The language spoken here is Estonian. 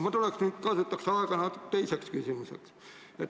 Aga ma kasutaks nüüd aega teiseks küsimuseks.